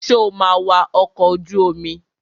Sọ ma wa ọkọ̀ ojú omi?